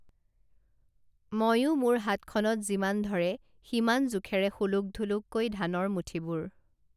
মইয়ো মোৰ হাতখনত যিমান ধৰে সিমান জোখেৰে সোলোক ঢোলোককৈ ধানৰ মুঠিবোৰ